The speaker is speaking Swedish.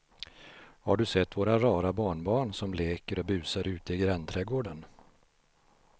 Har du sett våra rara barnbarn som leker och busar ute i grannträdgården!